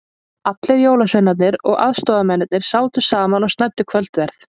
Allir jólasveinarnir og aðstoðamennirnir sátu saman og snæddu kvöldverð.